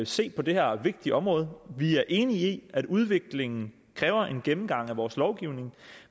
se på det her vigtige område vi er enige i at udviklingen kræver en gennemgang af vores lovgivning